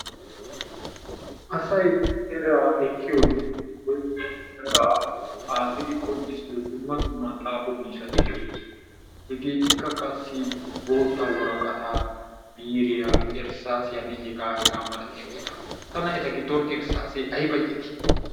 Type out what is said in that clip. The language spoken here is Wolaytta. Asay eraa ekkiyoo wotkko eraa xaafidi qonccisiyoo dumma dumma xaafo miishshati de"oosona. Hegeetikka qassi bootta woraqataa biiriyaa erssaassiyanne hegaanne hegaa malatiyageeta. Tana eta giddon ersaasee ayba iitti!